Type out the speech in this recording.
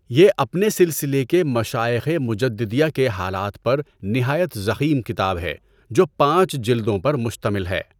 یہ اپنے سلسلہ کے مشائخِ مُجَدّدِیہ کے حالات پر نہایت ضخیم کتاب ہے جو پانچ جلدوں پر مشتمل ہے۔